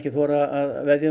þora að veðja